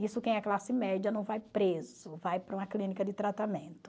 Isso quem é classe média não vai preso, vai para uma clínica de tratamento.